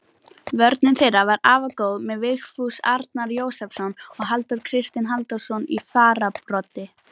Vörn þeirra var afar góð með Vigfús Arnar Jósepsson og Halldór Kristinn Halldórsson í fararbroddi.